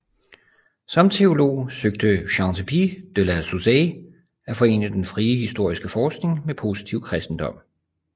Som teolog søgte Chantepie de la Saussaye at forene den frie historiske forskning med positiv kristendom